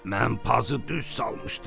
Mən pazı düz salmışdım.